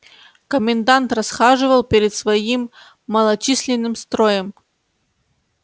комендант расхаживал перед своим малочисленным строем